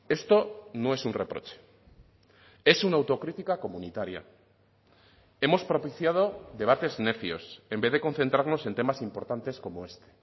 esto no es un reproche es una autocrítica comunitaria hemos propiciado debates necios en vez de concentrarnos en temas importantes como este